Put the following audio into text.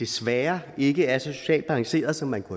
desværre ikke er så socialt balanceret som man kunne